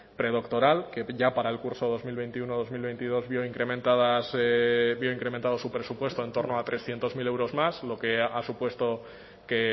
predoctoral que ya para el curso dos mil veintiuno dos mil veintidós vio incrementado su presupuesto en torno a trescientos mil euros más lo que ha supuesto que